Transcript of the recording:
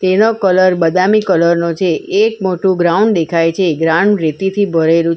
એનો કલર બદામી કલર નો છે એક મોટું ગ્રાઉન્ડ દેખાય છે ગ્રાઉન્ડ રેતીથી ભરેલું છ --